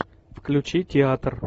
включи театр